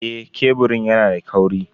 Eh, keburin yana da kauri.